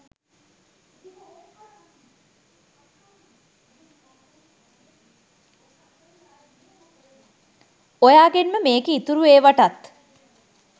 ඔයාගෙන්ම මේකේ ඉතුරු ඒවටත්